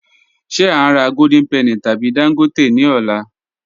Ṣe a n rà Golden Penny tabi Dangote ni ọ̀lá?